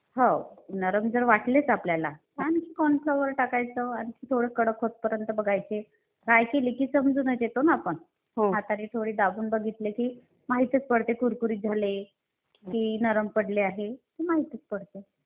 हो, नरम जर वाटलेच आपल्याला तर कॉर्न फ्लोअर टाकायचं आणि थोडं कडक होतपर्यंत बघायचे. फ्राय केले की समजूनच येतं ना. आपण हाताने थोडे दाबून बघितले की माहीतच पडते, कुरकुरीत झाले की नरम पडले आहेत हे माहीतच पडते.